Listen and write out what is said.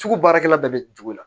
Sugu baarakɛla bɛɛ bɛ jogo la